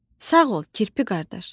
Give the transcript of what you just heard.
Sağ ol, kirpi qardaş.